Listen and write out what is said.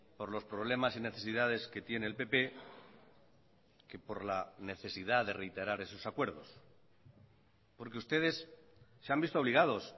por los problemas y necesidades que tiene el pp que por la necesidad de reiterar esos acuerdos porque ustedes se han visto obligados